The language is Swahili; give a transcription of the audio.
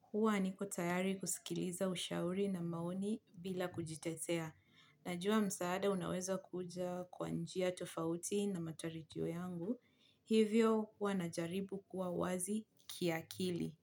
Huwa niko tayari kusikiliza ushauri na maoni bila kujitetea. Najua msaada unaweza kuja kwa njia tofauti na matarajio yangu, hivyo huwa najaribu kuwa wazi kiakili.